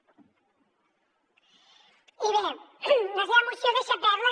i bé la seva moció deixa perles